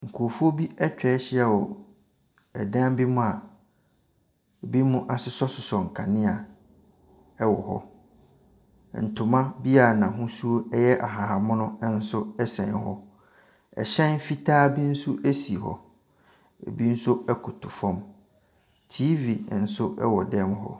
Nkorɔfoɔ bi atwahyia wɔ ɛdan bi mu a ebinom asosɔsosɔ nkanea ɛwɔ hɔ. Ntoma bi a n'ahosuo ɛyɛ ahahan mono nso ɛsɛn hɔ. Ɛhyɛn fitaa bi nso esi hɔ. Ebi nso koto fam. TV nso ɛwɔ dan mu hɔ.